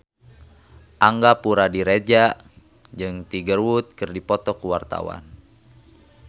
Angga Puradiredja jeung Tiger Wood keur dipoto ku wartawan